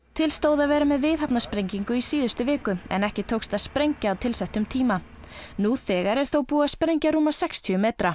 til stóð að vera með viðhafnarsprengingu í síðustu viku en ekki tókst að sprengja á tilsettum tíma nú þegar er þó búið að sprengja rúma sextíu metra